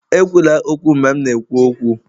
Ekwula okwu, mgbe m na-ekwu okwu!